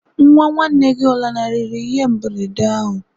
Nwa nwanne gị ọ lanarịrị ihe mberede ahụ?